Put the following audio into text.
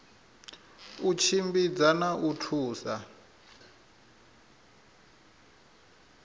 u tshimbidza na u thusa